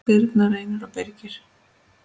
Birna, Reynir og Birgir.